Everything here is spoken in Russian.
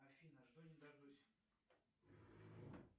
афина жду не дождусь